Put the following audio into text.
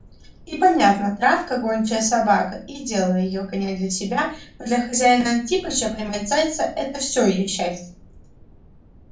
и понятно травка гончая собака и дело её гонять для себя но для хозяина-антипыча поймать зайца это все её счастье